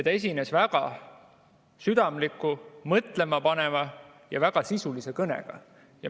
Ta esines väga südamliku, mõtlemapaneva ja väga sisulise kõnega.